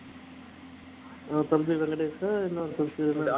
தம்பி வெங்கடேஷ் இன்னொன்னு